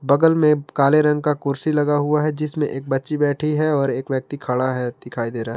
बगल में काले रंग का कुर्सी लगा हुआ है जिसमें एक बच्ची बैठी है और एक व्यक्ति खड़ा है दिखाई दे रहा--